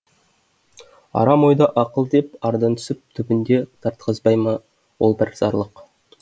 арам ойды ақыл деп ардан күсіп түбінде тартқызбай ма ол бір зарлық